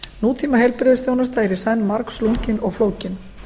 nútíma heilbrigðisþjónusta er í senn margslungin og flókin